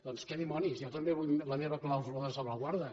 doncs què dimonis jo també vull la meva clàusula de salvaguarda